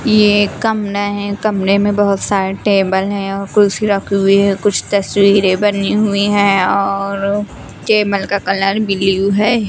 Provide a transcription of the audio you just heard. यह एक कमरा है कमरे में बहुत सारी टेबल है कुर्सी रखी हुई है कुछ तस्वीरें बनी हुई हैं और कैमल का कलर ब्लू है।